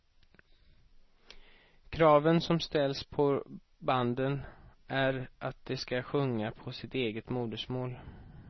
Kraven som ställs på banden är att de ska sjunga på sitt eget modersmål.